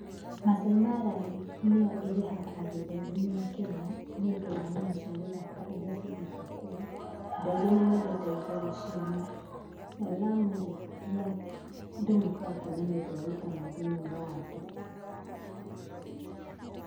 Maasai Mara rĩ, nĩyo ĩrehaga agendi aingĩ mũno Kenya, nĩ undũ wa nyamũ cia gĩthaka iria cigĩtwo kũu, andũ aingĩ nĩ mendete gũka gũciona. Nayo Lamu rĩ, nĩ ya andũ mokaga kwona nĩ ũndũ wa utamaduni wa andũ.